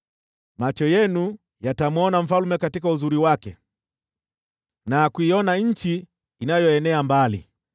Macho yenu yatamwona mfalme katika uzuri wake na kuiona nchi inayoenea mbali.